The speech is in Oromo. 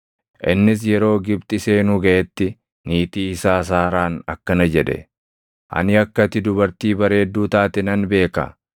Innis yeroo Gibxi seenuu gaʼetti niitii isaa Saaraan akkana jedhe; “Ani akka ati dubartii bareedduu taate nan beeka.